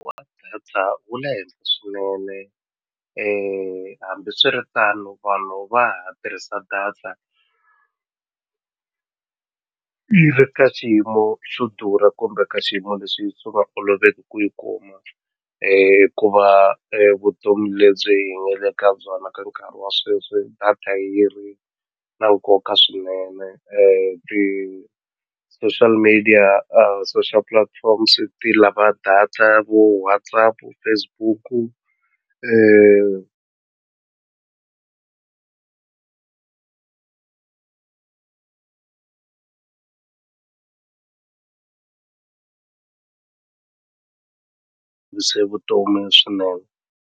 data wu le henhla swinene hambiswiritano vanhu va ha tirhisa data yi ri ka xiyimo xo durha kumbe ka xiyimo leswi swi nga oloveki ku yi kuma hikuva vutomi lebyi hi nga le ka byona ka nkarhi wa sweswi data yi ri na nkoka swinene ti-social media social platforms ti lava data ya vo WhatsApp, Facebook-u vutomi swinene.